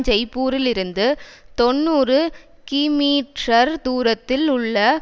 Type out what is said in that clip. ஜெய்ப்பூரில் இருந்து தொன்னூறுகிமீற்றர் தூரத்தில் உள்ள